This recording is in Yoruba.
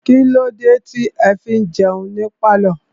Kílódé tí ẹ fi ń jẹun ní pálọ̀?